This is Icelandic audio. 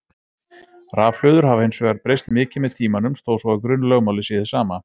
Rafhlöður hafa hins vegar breyst mikið með tímanum þó svo að grunnlögmálið sé hið sama.